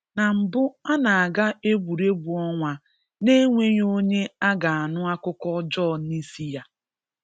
Na mbụ a na-aga egwuregwu ọnwa n’enweghi onye a ga-anụ akụkọ ọjọọ n’isi ya.